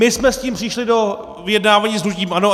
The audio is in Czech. My jsme s tím přišli do vyjednávání s hnutím ANO.